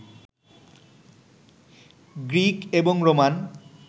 Greek এবং Roman